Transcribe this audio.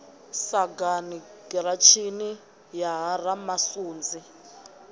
sagani giratshini ya ha ramasunzi